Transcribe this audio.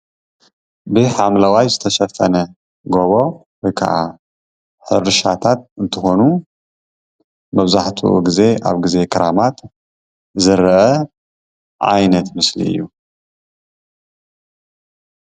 ብሓምለዋይ ዝተሸፈነ ጎቦ ወይ ካዓ ሕርሻታት እንትኾኑ መብዛሕትኡ ጊዜ ኣብ ግዜ ክረማት ዝረአ ዓይነት ምስሊ እዩ፡፡